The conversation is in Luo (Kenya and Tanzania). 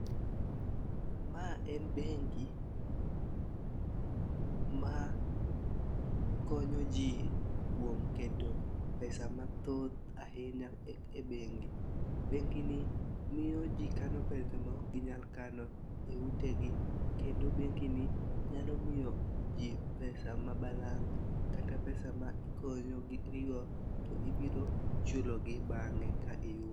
Ma en bengi ma konyo jii kuom keto pesa mathoth ahinya e bengi . Bengi ni miyo jii kano pesa ma ok ginyal kano e utegi kendo bengi ni nyalo miyo jii pesa ma balang' kata pesa ma ikonyori go to ibiro chulo gi bang'e ka iyudo.